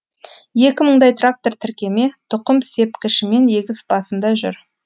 екі мыңдай трактор тіркеме тұқым сепкішімен егіс басында жүр